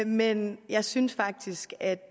men jeg synes faktisk at